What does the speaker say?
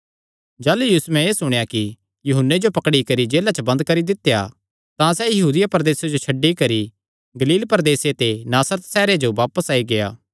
जाह़लू यीशुयैं एह़ सुणेया कि यूहन्ने जो पकड़ी करी जेला च बंद करी दित्या तां सैह़ यहूदिया प्रदेसे जो छड्डी करी गलील प्रदेसे दे नासरत सैहरे च बापस आई गेआ